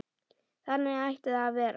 Þannig ætti það að vera.